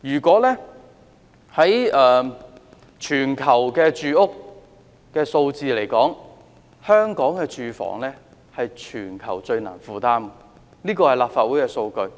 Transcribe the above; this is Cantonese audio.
根據資料，香港的房屋是全球最難負擔的，這是立法會的數據。